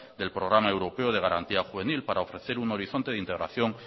del programa europeo de garantía juvenil para ofrecer un horizonte de integración